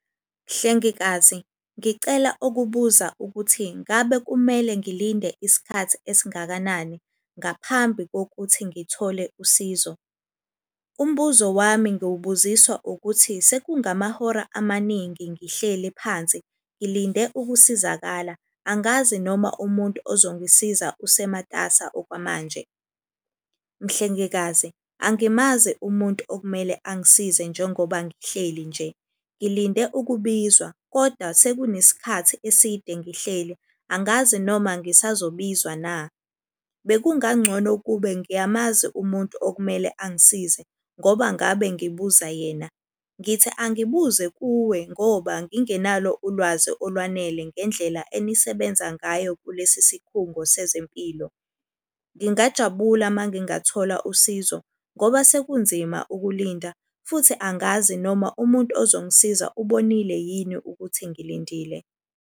Mhlengikazi ngicela ukubuza ukuthi ngabe kumele ngilinde isikhathi esingakanani ngaphambi kokuthi ngithole usizo. Umbuzo wami ngiwubuziswa ukuthi sekungamahora amaningi ngihlele phansi ngilinde ukusizakala. Angazi noma umuntu ozongisiza usematasa okwamanje. Mhlengikazi angimazi umuntu okumele angisize njengoba ngihleli nje. Ngilinde ukubizwa kodwa sekunesikhathi eside ngihleli, angazi noma ngisazobizwa na. Bekungangcono ukube ngiyamazi umuntu okumele angisize ngoba ngabe ngibuza yena. Ngithi angibuze kuwe ngoba ngingenalo ulwazi olwanele ngendlela enisebenza ngayo kulesi sikhungo sezempilo. Ngingajabula uma ngingathola usizo ngoba sekunzima ukulinda, futhi angazi noma umuntu ozongisiza ubonile yini ukuthi ngilindile